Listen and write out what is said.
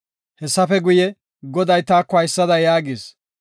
Hessafe guye, Goday taako haysada yaagis.